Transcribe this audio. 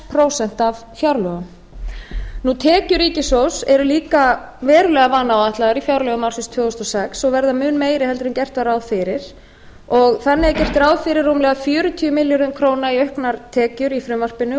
prósent af fjárlögum tekjur ríkissjóðs eru líka verulega vanáætlaðar í fjárlögum ársins tvö þúsund og sex og verða mun meiri en gert var ráð fyrir þannig er gert ráð fyrir rúmlega fjörutíu milljörðum króna í auknar tekjur í frumvarpinu og